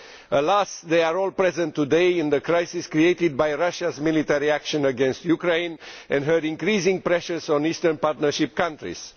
Alas, they are all present today in the crisis created by Russia's military actions against Ukraine and its increasing pressures on the Eastern Partnership countries.